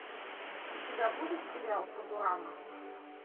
у тебя будет сериал футурама